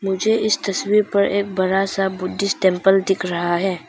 मुझे इस तस्वीर पर एक बड़ा सा बुद्धिष्ट टेंपल दिख रहा है।